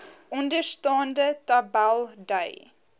onderstaande tabel dui